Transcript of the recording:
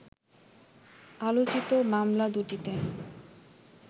আলোচিত মামলা দুটিতে